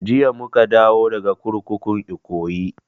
Jiya muka dawo daga kurkukun ikoyi